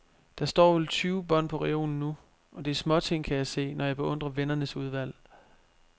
Der står vel tyve bånd på reolen nu, og det er småting, kan jeg se, når jeg beundrer vennernes udvalg.